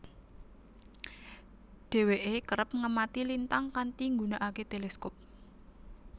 Dheweke kerep ngemati lintang kanthi nggunakake teleskop